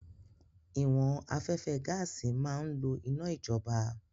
Ìwọ̀n afẹ́fẹ́ gaàsì máa ń lò iná ìjọba